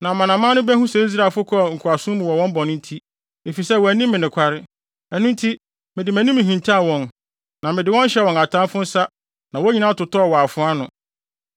Na amanaman no behu sɛ Israelfo kɔɔ nkoasom mu wɔn bɔne nti, efisɛ wɔanni me nokware. Ɛno nti mede mʼanim hintaw wɔn, na mede wɔn hyɛɛ wɔn atamfo nsa na wɔn nyinaa totɔɔ wɔ afoa ano.